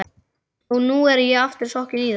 Og nú er ég aftur sokkinn í það.